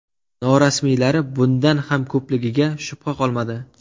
Norasmiylari bundan ham ko‘pligiga shubha qolmadi.